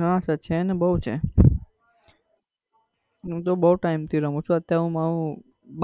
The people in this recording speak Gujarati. હાસ્તો તો છે ને બઉ છે હું તોબઉ ટીમે થી રમું છું એટલે અત્યારે હું મારા